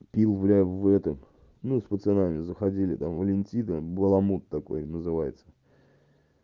пил блядь в этом ну с пацанами заходили там валентина баламут такой называется